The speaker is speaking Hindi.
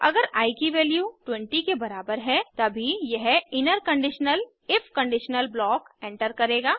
अगर आई की वैल्यू 20 के बराबर है तभी यह inner conditional if conditional block enter करेगा